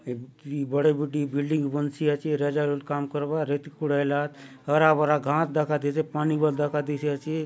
यह बड़े-बड़े बिल्डिग दिखय दे रहा हे कम करवा रहा हेब हार भरा गहस भि दिख रहा है।